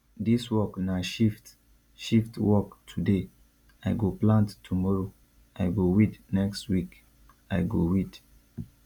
dis work na shift shift work today i go plant tomoro i go weed next week i go weed